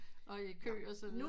Og i kø og så videre